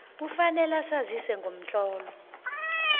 kufanele aziswe ngomtlolo